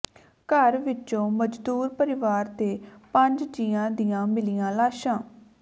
ਘਰ ਵਿੱਚੋਂ ਮਜ਼ਦੂਰ ਪਰਿਵਾਰ ਦੇ ਪੰਜ ਜੀਆਂ ਦੀਆਂ ਮਿਲੀਆਂ ਲਾਸ਼ਾਂ